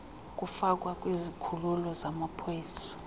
kufakwa kwizikhululo zamapolisa